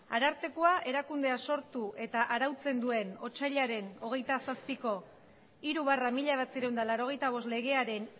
arartekoa erakundea sortu eta arautzen duen otsailaren hogeita zazpiko hiru barra mila bederatziehun eta laurogeita bost legearen